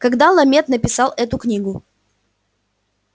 когда ламет написал эту книгу